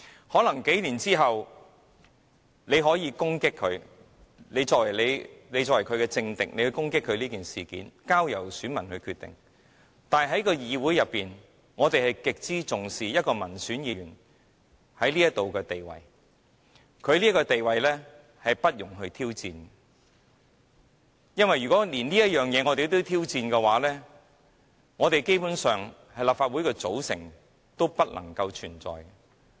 可能在數年後，他的政敵可以利用此事來攻擊他，這應交由選民決定，但在議會內，我們極為重視民選議員在這裏的地位，而他的地位不容挑戰，因為如果我們連這也挑戰，基本上，立法會的組合便不能存在。